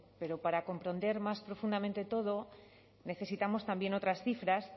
pero para comprender más profundamente todo necesitamos también otras cifras